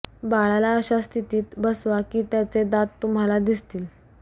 बाळाला अशा स्थितीत बसावा की त्याचे दात तुम्हाला दिसतील